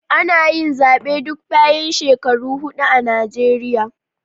Ana yi zabe duk bayan shekaru hudu a Nijeriya.